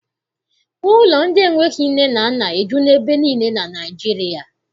Ụlọ ndị enweghị nne na nna ejula ebe niile na Naịjirịa.